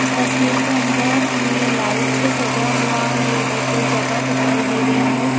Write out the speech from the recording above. इस तस्वीर के अंदर हमें लाइट से सजा हुआ ये एक जगह दिखाई दे रही है।